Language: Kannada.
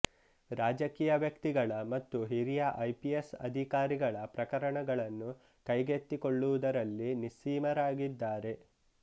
ರಾಜಕೀಯ ವ್ಯಕ್ತಿಗಳ ಮತ್ತು ಹಿರಿಯ ಐಪಿಎಸ್ ಅಧಿಕಾರಿಗಳ ಪ್ರಕರಣಗಳನ್ನು ಕೈಗೆತ್ತಿಕೊಳ್ಳುವುದರಲ್ಲಿ ನಿಸ್ಸೀಮರಾಗಿದ್ದಾರೆ